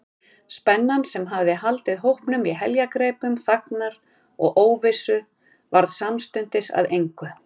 Spennan, sem hafði haldið hópnum í heljargreipum þagnar og óvissu, varð samstundis að engu.